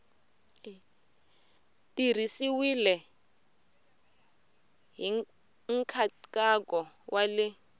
tirhisiwile hi nkhaqato wa le